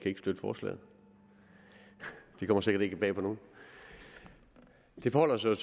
ikke støtte forslaget det kommer sikkert ikke bag på nogen det forholder sig